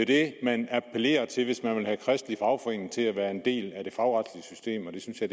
det man appellerer til hvis man vil have kristelig fagforening til at være en del af det fagretslige system og det synes jeg